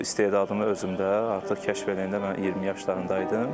Bu istedadımı özümdə artıq kəşf eləyəndə mən 20 yaşlarımda idim.